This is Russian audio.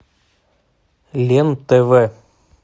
лен тв